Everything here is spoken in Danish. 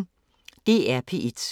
DR P1